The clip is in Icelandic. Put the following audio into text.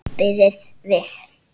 Bíðið við!